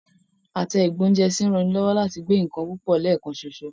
Àtẹ ìgbóúnjẹsí ń ranilọ́wọ́ láti gbé nǹkan púpọ̀ lẹ́ẹ̀kan ṣoṣo